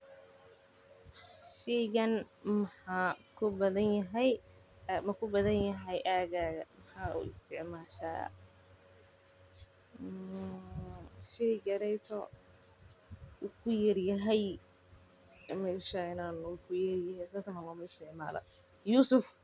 Shaygani ma ku badan yahay aaggaaga, maxaad u isticmaashaa, sheygani wuu ku yar yahay meshaynaa sas badanaa lamaisticmaalo.